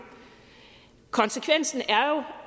konsekvensen